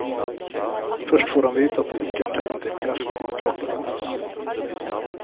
Først får han vite at det ikke er tegn til kreft i kroppen hans.